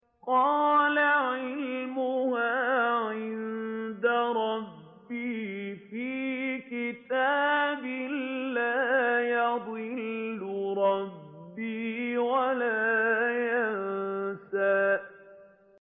قَالَ عِلْمُهَا عِندَ رَبِّي فِي كِتَابٍ ۖ لَّا يَضِلُّ رَبِّي وَلَا يَنسَى